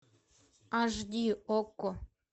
аш ди окко